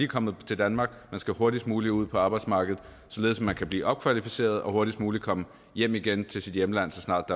kommet til danmark man skal hurtigst muligt ud på arbejdsmarkedet således at man kan blive opkvalificeret og hurtigst muligt komme hjem igen til sit hjemland så snart